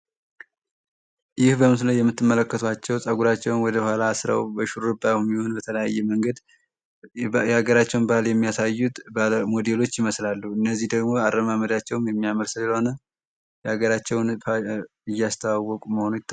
ይህ በምስሉ ላይ የምትመለከቷቸው ፀጉራቸውን ወደኋላ አስረው እንዲሁም በተለያየ መንገድ የሀገራቸውን ባህል የሚያሳዩት ሞዴሎች ይመስላሉ። እነዚህ ደግሞ አረማመዳቸውም የሚያምር ስለሆነ ሀገራቸውን እስሰተዋወቁ እንደሆነ ይታወቃል።